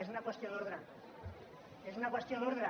és una qüestió d’ordre és una qüestió d’ordre